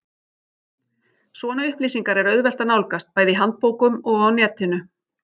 Svona upplýsingar er auðvelt að nálgast, bæði í handbókum og á netinu.